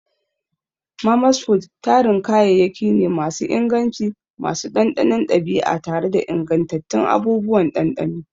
Mama's food tarin kayayyaki ne masu inganci, masu ɗanɗanon ɗabi'a tare da ingantattun abubuwan ɗanɗano.